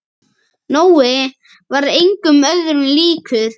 Nói var engum öðrum líkur.